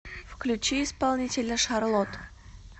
включи исполнителя шарлот